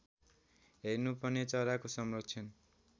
हेर्नुपर्ने चराको संरक्षण